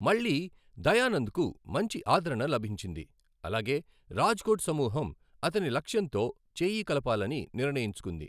మళ్లీ, దయానంద్కు మంచి ఆదరణ లభించింది అలాగే రాజ్కోట్ సమూహం అతని లక్ష్యంతో చేయి కలపాలని నిర్ణయించుకుంది.